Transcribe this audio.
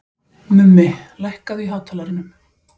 Mummi, lækkaðu í hátalaranum.